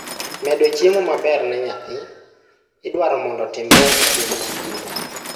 medo chiemo meber ne nyathi; idwaro mondo otimre e piny ngima